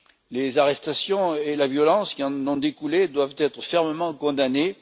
Les arrestations et la violence qui en ont découlé doivent être fermement condamnées